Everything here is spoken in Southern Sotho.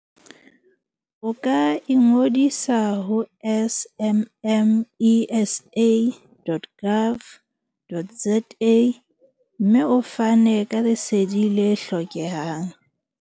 O ka ingodisa ho smmesa.gov.za. mme o fane ka Lesedi le hlokehang.